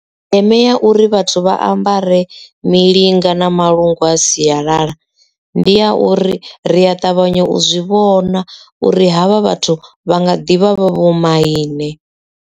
Ndeme ya uri vhathu vha ambare milinga na malungu a siyalala ndi ya uri ri a ṱavhanya u zwi vhona uri havha vhathu vha nga ḓivha vho maine.